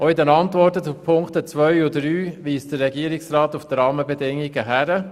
Auch in den Antworten zu den Ziffern 2 und 3 weist der Regierungsrat auf die Rahmenbedingungen hin.